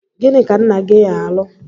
Gịnị ka nna-gi alụ?